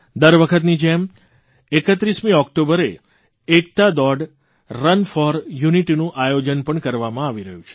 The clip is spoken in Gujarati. દર વખતની જેમ 31 ઓકટોબરે એકતા દોડ રન ફોર યુનિટીનું આયોજન પણ કરવામાં આવી રહ્યું છે